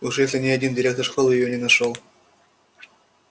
уж если ни один директор школы её не нашёл